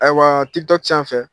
Ayiwa Tiktok canfɛ